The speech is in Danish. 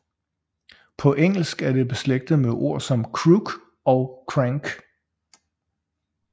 På engelsk er det beslægtet med ord som crook og crank